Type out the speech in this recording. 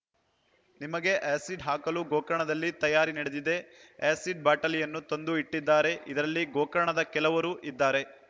ನಿಮಗೆ ಆ್ಯಸಿಡ್‌ ಹಾಕಲು ಗೋಕರ್ಣದಲ್ಲಿ ತಯಾರಿ ನಡೆದಿದೆ ಆ್ಯಸಿಡ್‌ ಬಾಟಲಿಯನ್ನು ತಂದು ಇಟ್ಟಿದ್ದಾರೆ ಇದರಲ್ಲಿ ಗೋಕರ್ಣದ ಕೆಲವರು ಇದ್ದಾರೆ